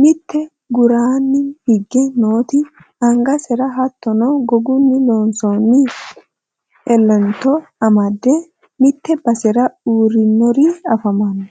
mitte guraanni higge nooti angasera hottono gogunni loonsoonni elento amadde mitte basera uurrinori afamanno